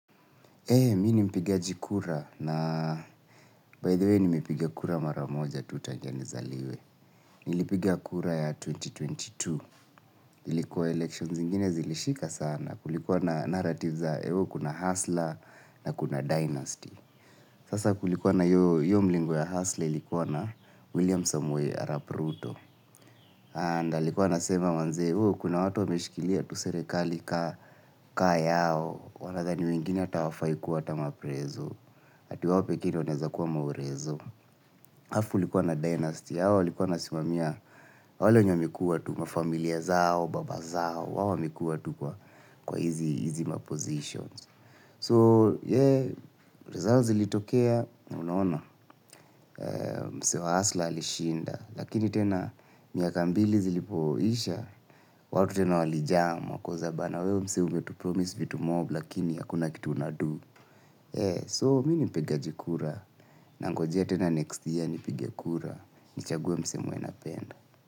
Ee, mi ni mpigaji kura na, by the way, nimepiga kura mara moja tu tajia nizaliwe. Nilipiga kura ya elfu mbili na ishirini na mbili, ilikua elections zingine zilishika sana, kulikuwa na narrative za ewe kuna hustler na kuna dynasty. Sasa kulikuwa na io io mlingo ya hustler ilikuwa na William Samuel Arap ruto. And alikuwa anasema manze oo kuna watu wameshikilia tu serekali kaa yao, wanadhani wengine ata hawafai kuwa ata maprezo. Ati wao pekee ndo waeza kuwa maorezo. Alafu kulikuwa na dynasty, hao walikuwa wanasimamia, wale wenye wamekuwa tu mafamilia zao, baba zao, wao wamekuwa tu kwa kwa hizi mapositions. So, yeah, results zilitokea, na unaona, msee wa hasla alishinda, lakini tena, miaka mbili zilipoisha, watu tena walijam, wakauliza bana, wewe msee umetupromise vitu mob, lakini hakuna kitu unadu. So, mi ni mpigaji kura, nangojea tena next year nipige kura nichague msee mwenye napenda.